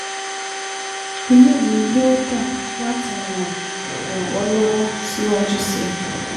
Inú mi yóò dùn láti ràn ràn ọ́ lọ́wọ́ síwájú sí i